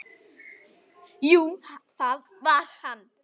Jú, það var hann!